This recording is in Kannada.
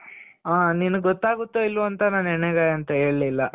ಹ ನಿನುಗ್ ಗೊತ್ತಾಗುತ್ತೋ ಇಲ್ವೋ ಅಂತ ನಾನು ಹೆಣ್ ಗಾಯಿ ಅಂತ ಹೇಳ್ಲಿಲ್ಲ